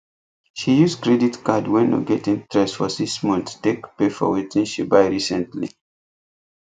she use credit card wey no get interest for six months take pay for wetin she buy recently